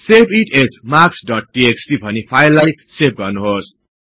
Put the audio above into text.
save it as marks dot TXT भनि फाईललाई save गर्नुहोस्